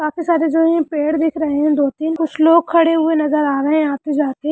काफी सारे जो है पेड़ दिख रहे है दो तीन कुछ लोग खड़े नजर आ रहे है आते-जाते---